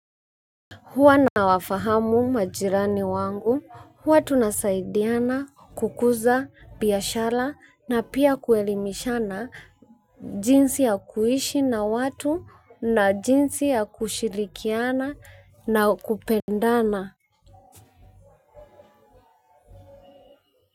Huwa nawafahamu majirani wangu, huwa tunasaidiana, kukuza, biashara na pia kuelimishana jinsi ya kuishi na watu na jinsi ya kushirikiana na kupendana.